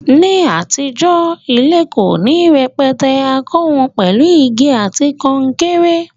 Ní àtijó, ilé ko ni rẹpẹtẹ, a kó won pèlu igi àti kankéré